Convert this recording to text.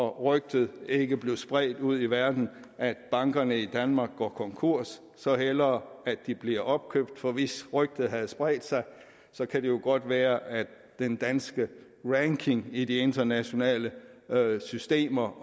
rygtet ikke blev spredt ud i verden at bankerne i danmark går konkurs så hellere at de bliver opkøbt for hvis rygtet havde spredt sig kan det jo godt være at den danske ranking i de internationale systemer